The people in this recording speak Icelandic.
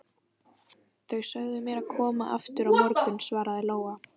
Þau sögðu mér að koma aftur á morgun, svaraði Lóa.